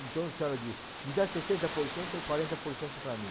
Então a senhora diz, me dá sessenta por cento e quarenta por cento para mim.